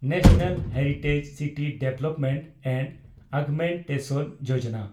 national heritage city development and augmentation Yojana